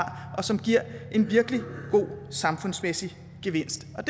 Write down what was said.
og som giver en virkelig god samfundsmæssig gevinst og